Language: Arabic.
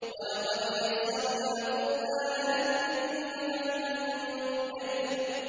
وَلَقَدْ يَسَّرْنَا الْقُرْآنَ لِلذِّكْرِ فَهَلْ مِن مُّدَّكِرٍ